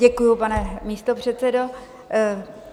Děkuji, pane místopředsedo.